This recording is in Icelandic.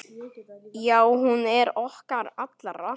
Já, hún er okkar allra.